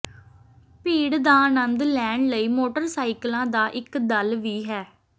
ਭੀੜ ਦਾ ਆਨੰਦ ਲੈਣ ਲਈ ਮੋਟਰਸਾਈਕਲਾਂ ਦਾ ਇੱਕ ਦਲ ਵੀ ਹੈ